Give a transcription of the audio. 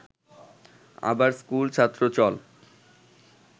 আবার স্কুলছাত্র…চল